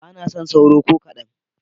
Ba na son sauro ko kaɗan.